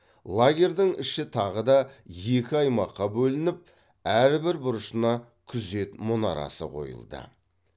лагердің іші тағы да екі аймаққа бөлініп әрбір бұрышына күзет мұнарасы қойылды